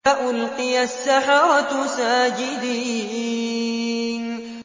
فَأُلْقِيَ السَّحَرَةُ سَاجِدِينَ